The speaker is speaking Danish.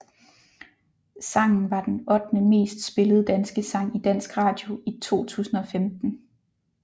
Sangen var den ottende mest spillede danske sang i dansk radio i 2015